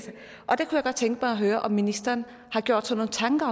mig at høre om ministeren har gjort sig nogle tanker